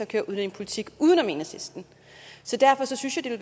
køre udlændingepolitik uden om enhedslisten så derfor synes jeg